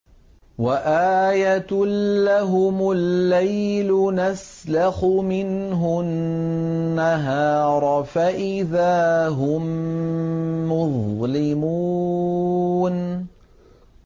وَآيَةٌ لَّهُمُ اللَّيْلُ نَسْلَخُ مِنْهُ النَّهَارَ فَإِذَا هُم مُّظْلِمُونَ